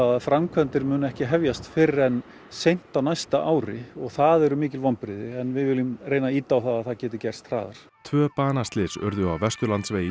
að framkvæmdir muni ekki hefjast fyrr en seint á næsta ári og það eru mikil vonbrigði en við viljum reyna að ýta á það að það geti gerst hraðar tvö banaslys urðu á Vesturlandsvegi